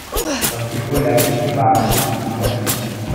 some pipo like to de baff two to three times a day